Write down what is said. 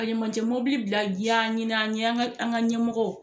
Ka ɲamacɛ bila ɲin'an ye an ga ɲɛmɔgɔ